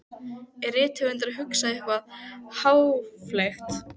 Er rithöfundurinn að hugsa eitthvað háfleygt?